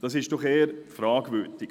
Das ist doch eher fragwürdig.